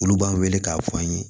Olu b'an wele k'a fɔ an ye